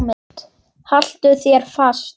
Haltu þér fast.